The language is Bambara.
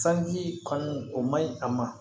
Sanji kanu o maɲi a ma